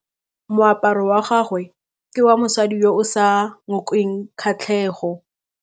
Moaparô wa gagwe ke wa mosadi yo o sa ngôkeng kgatlhegô.